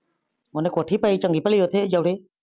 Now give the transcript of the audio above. ਓਨੇ ਕੋਠੀ ਪਾਈ ਚੰਗੀ ਬਲੀ ਓਥੇ ਜੋੜੇ